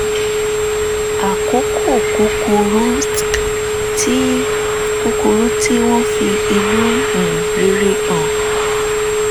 àkókò kúkúrú tí kúkúrú tí wọ́n fi inú um rere hàn